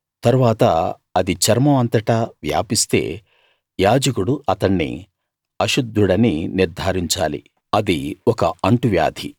తరువాత అది చర్మం అంతటా వ్యాపిస్తే యాజకుడు అతణ్ణి అశుద్ధుడని నిర్థారించాలి అది ఒక అంటు వ్యాధి